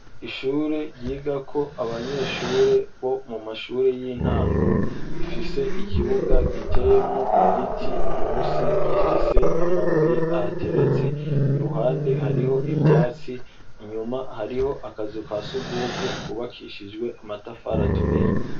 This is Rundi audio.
Ishure ryigako abanyeshure bo mu mashure y'intango rifise ikibuga giteyemwo igiti munsi gifise amabuye ahateretse ,iruhande hariho ivyatsi, inyuma hariho akazu kasugumwe kubakishijwe amatafari aturiye.